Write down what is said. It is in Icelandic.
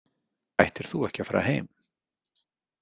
Ættir þú ekki að fara heim?